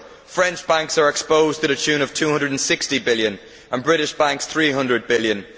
French banks are exposed to the tune of EUR 260 billion and British banks EUR 300 billion.